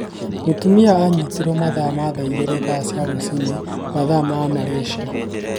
Mũtumia anyitirwe mathaa ma thaa igĩri cia rũcini mathaa ma Malasyia